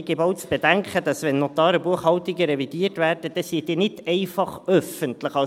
Ich gebe auch zu bedenken, dass, wenn Notariatsbuchhaltungen revidiert werden, diese dann nicht einfach öffentlich sind.